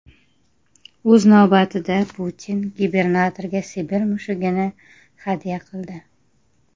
O‘z navbatida, Putin gubernatorga Sibir mushugini hadya qildi.